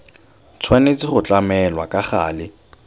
tshwanetse go tlamelwa ka gale